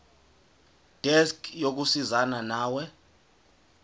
desk yokusizana nawe